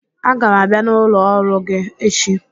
Aga m abịa n'ụlọ ọrụ gi echi